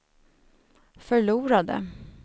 förlorade